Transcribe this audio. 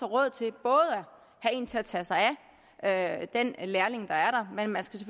råd til at have en til at tage sig af den lærling der er der men man skal